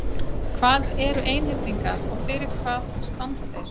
Hvað eru einhyrningar og fyrir hvað standa þeir?